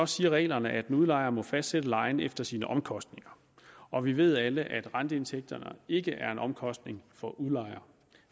siger reglerne at en udlejer må fastsætte lejen efter sine omkostninger og vi ved alle at renteindtægterne ikke er en omkostning for udlejer